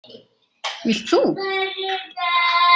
Vilt þú?